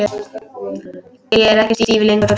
Ég er ekki stíf lengur.